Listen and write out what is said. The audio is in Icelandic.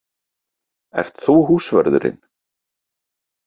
Ert þú húsvörðurinn?